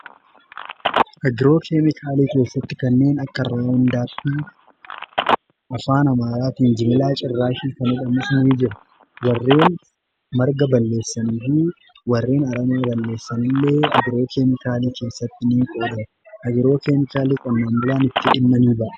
Agiroo keemikaalii keessatti kanneen akka raawondaappii afaa amaaraatiin jibilaa cirraashii kan jedhaman ni jira. Warreen marga balleessanii fi warreen aramaa balleessanillee agiroo keemikaalii keessatti ni qoodamu. Agiroo keemikaaliitti qonnaan bulaan itti dhimma ni ba'a.